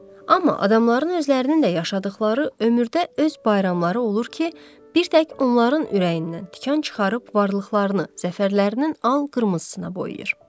Amma adamların özlərinin də yaşadıqları ömürdə öz bayramları olur ki, bir tək onların ürəyindən tikan çıxarıb varlıqlarını, zəfərlərinin al-qırmızısına boyuyur.